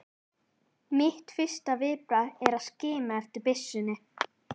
Mitt fyrsta viðbragð er að skima eftir byssunni.